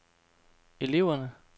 eleverne